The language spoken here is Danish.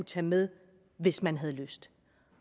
tage med hvis man har lyst